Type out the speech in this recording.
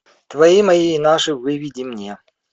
твои мои и наши выведи мне